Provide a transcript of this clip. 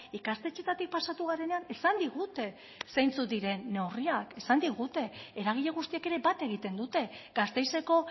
ikastetxeetatik pasa garenean esan digute zeintzuk diren neurriak eragile guztiek ere bat egiten dute gasteizeko